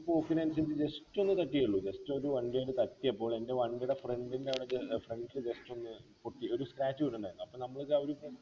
പോക്കിനനുസരിച്ച് just ഒന്നു തട്ടിയെ ഉള്ളു just ഒരു വണ്ടി അയിന് തട്ടിയപ്പോൾ എൻ്റെ വണ്ടിടെ front ൻ്റെ അടുക്ക് ഏർ front just ഒന്ന് പൊട്ടി ഒരു scrach വീണ്ണ്ടാർന്നു അപ്പൊ അപ്പോ നമ്മളെ വിചാരം ഇപ്പൊ